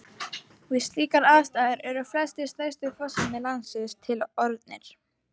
Við slíkar aðstæður eru flestir stærstu fossar landsins til orðnir.